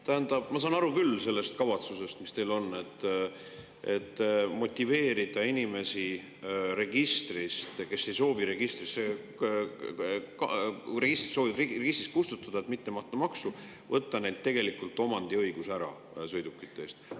Tähendab, ma saan aru küll sellest kavatsusest, mis teil on, motiveerida inimesi, kes soovivad registrist kustutada, et mitte maksta maksu, ja võtta neilt tegelikult omandiõigus ära sõidukite puhul.